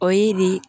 O y'i di